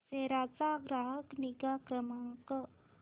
सेरा चा ग्राहक निगा क्रमांक